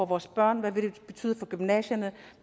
vores børn hvad det vil betyde for gymnasierne